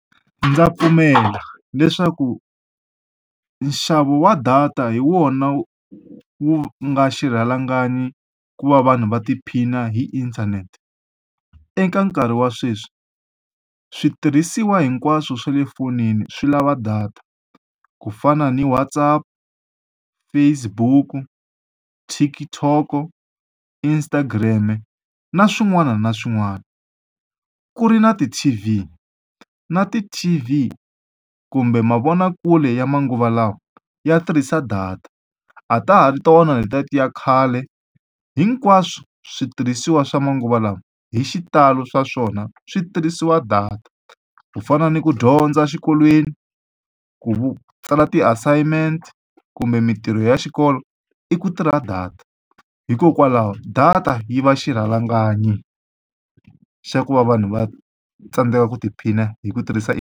Ndza pfumela leswaku nxavo wa data hi wona wu nga xirhalanganyi ku va vanhu va tiphina hi inthanete. Eka nkarhi wa sweswi, switirhisiwa hinkwaswo swa le fonini swi lava data ku fana ni WhatsApp, Facebook-u, TikTok-o, Instagram-e na swin'wana na swin'wana. Ku ri na ti-T_V, na ti-T_V kumbe mavonakule ya manguva lawa ya tirhisa data, a ta ha ri tona letiya ti ya khale. Hinkwaswo switirhisiwa swa manguva lawa hi xitalo swa swona switirhisiwa data. Ku fana ni ku dyondza exikolweni, ku tsala ti-assignment kumbe mitirho ya xikolo i ku tirha data. Hikokwalaho data yi va xirhalanganyi xa ku va vanhu va tsandzeka ku tiphina hi ku tirhisa .